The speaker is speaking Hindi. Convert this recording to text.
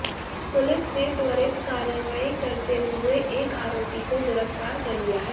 पुलिस ने त्वरित कार्रवाई करते हुए एक आरोपी को गिरफ्तार कर लिया है